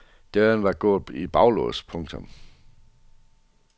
Døren var gået i baglås. punktum